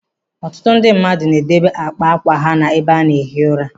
Ọtụtụ ndị mmadụ na edobe àkpà ákwà ha n'ebe ana-ehi ụra.